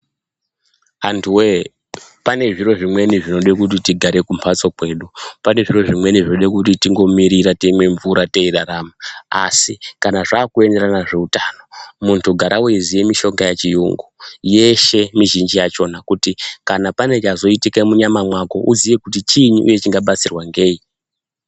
Anthu wee, pane zviro zvimweni zvinoda kuti tigare kumamphatso kwedu, pane zvimweni zvinoda kuti tingomirira teimwe mvura teirarama. Asi kana zvaakuenderana nezveutano munthu gara weiziya mishonga yechiyungu, yeshe mizhinji yakhona kuti kana pane chazoitika munyama mwako uziye kuti chiini uye chingabatsirwa ngei?